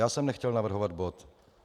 Já jsem nechtěl navrhovat bod.